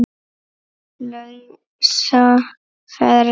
lausa ferli.